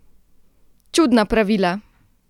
Čudna pravila!